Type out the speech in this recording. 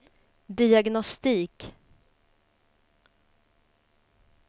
diagnostik